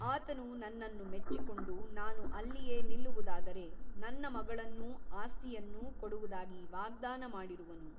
ಆತನು ನನ್ನನ್ನು ಮೆಚ್ಚಿಕೊಂಡು ನಾನು ಅಲ್ಲಿಯೇ ನಿಲ್ಲುವುದಾದರೆ ನನ್ನ ಮಗಳನ್ನೂ ಆಸ್ತಿಯನ್ನೂ ಕೊಡುವುದಾಗಿ ವಾಗ್ದಾನ ಮಾಡಿರುವನು.